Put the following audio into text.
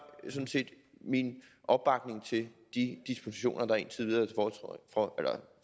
min opbakning til de dispositioner der indtil videre er